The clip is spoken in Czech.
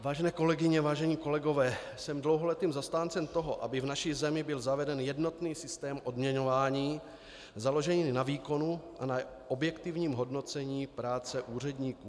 Vážené kolegyně, vážení kolegové, jsem dlouholetým zastáncem toho, aby v naší zemi byl zaveden jednotný systém odměňování, založený na výkonu a na objektivním hodnocení práce úředníků.